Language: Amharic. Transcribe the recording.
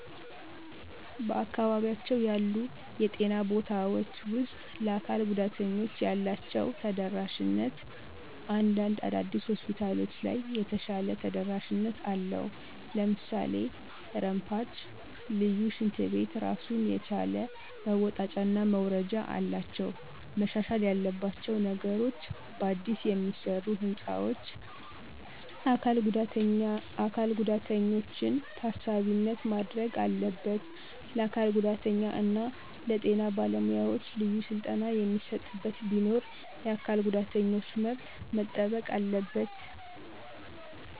በአካባቢያቸው ያሉ የጤና ቦታውች ውስጥ ለአካል ጉዳተኞች ያላችው ተደራሽነት እንዳንድ አዳዲስ ሆስፒታሎች ለይ የተሻለ ተደረሽነት አለው ለምሳሌ ረምፓች፣ ልዪ ሽንት ቤት ራሱን የቻለ መወጣጨና መውረጃ አላቸው። መሻሻል ያለባቸው ነገሮች በአዲስ የሚሰሩ ህንፃዎች አካል ጉዳተኛችን ታሳቢነት ማድረግ አለበት፣ ለአካል ጉዳተኛ እና ለጤና በለ ሙያዎች ልዩ ስልጠና የሚሰጥበት ቢኖር፣ የአካል ጉዳተኞች መብት መጠበቅ አለበት።